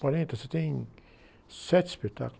Quarenta e você tem sete espetáculos